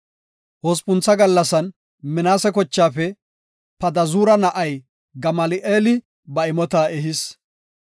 Hospuntha gallasan Minaase kochaafe Padazuura na7ay Gamali7eeli ba imota ehis.